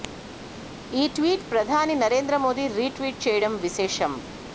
ఈ ట్వీట్ ప్రధాని నరేంద్ర మోదీ రీట్వీట్ చేయడం విశేషం